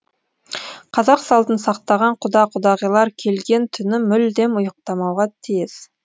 қазақ салтын сақтаған құда құдағилар келген түні мүлдем ұйықтамауға тиіс